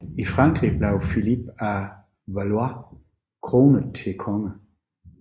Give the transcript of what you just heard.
I Frankrig blev Filip af Valois kronet til konge